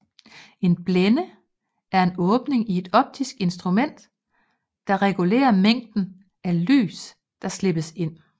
En blænde er en åbning i et optisk instrument der regulerer mængden af lys der slippes ind